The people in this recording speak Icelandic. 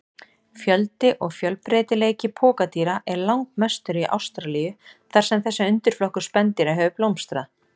Fjöldi og fjölbreytileiki pokadýra er langmestur í Ástralíu þar sem þessi undirflokkur spendýra hefur blómstrað.